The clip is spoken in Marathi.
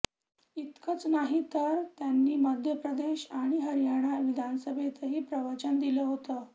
इतकंच नाही तर त्यांनी मध्य प्रदेश आणि हरियाणा विधानसभेतही प्रवचन दिलं होतं